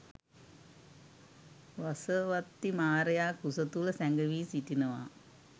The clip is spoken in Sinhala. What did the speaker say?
වසවත්තී මාරයා කුස තුළ සැඟවී සිටිනවා.